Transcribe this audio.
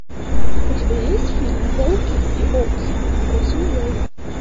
у тебя есть фильм волки и овцы ход свиньей